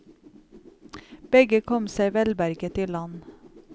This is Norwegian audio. Begge kom seg velberget i land.